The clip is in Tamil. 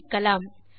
சோதிக்கலாம்